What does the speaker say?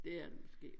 Det er det måske